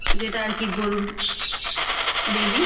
যেইটা আরকি গরুর বেবি ।